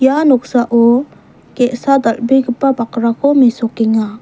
ua noksao ge·sa dal·begipa bakrako mesokenga.